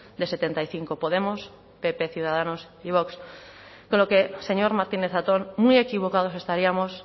de setenta y cinco podemos pp ciudadanos y vox con lo que señor martínez zatón muy equivocados estaríamos